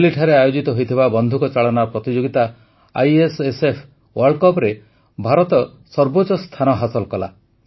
ଦିଲ୍ଲୀଠାରେ ଆୟୋଜିତ ହୋଇଥିବା ବନ୍ଧୁକଚାଳନା ପ୍ରତିଯୋଗିତା ଆଇଏସଏସଏଫ୍ ୱାର୍ଲ୍ଡକପରେ ଭାରତ ସର୍ବୋଚ୍ଚ ସ୍ଥାନ ହାସଲ କଲା